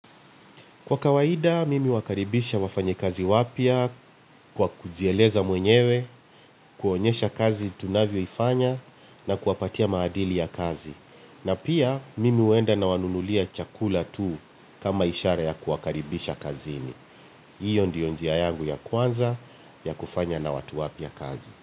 Kwa kawaida, mimi huwakaribisha wafanyi kazi wapya kwa kujieleza mwenyewe, kuonyesha kazi tunavyo ifanya na kuwapatia maadili ya kazi. Na pia, mimi huenda na wanunulia chakula tu kama ishara ya kuwakaribisha kazini. Hiyo ndio njia yangu ya kwanza ya kufanya na watu wapya kazi.